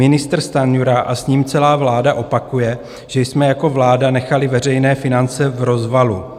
Ministr Stanjura a s ním celá vláda opakuje, že jsme jako vláda nechali veřejné finance v rozvalu.